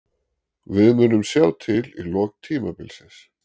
Við munum sjá til í lok tímabilsins.